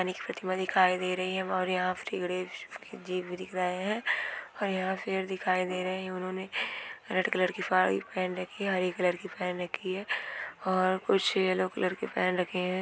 एक प्रतिमा दिखाई दे रही है और यहाँ श्री गणेश जी भी दिख रहे हैं और यहाँ शेर दिखाई दे रहे हैं| उन्होंने रेड कलर की साड़ी पहन रखी है हरे कलर की पहन रखी है और कुछ येलो कलर के पहन रखे हैं।